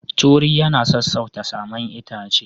Turi yana sassauta saman itace.